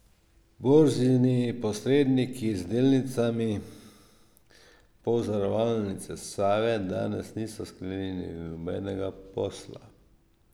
Borzni posredniki z delnicami Pozavarovalnice Save danes niso sklenili nobenega posla.